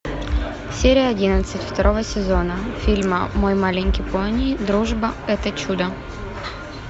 серия одиннадцать второго сезона фильма мой маленький пони дружба это чудо